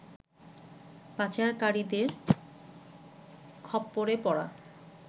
পাচারকারীদের খপ্পরে পড়া